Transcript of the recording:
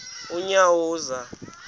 unyawuza